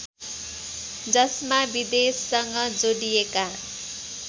जसमा विदेशसँग जोडिएका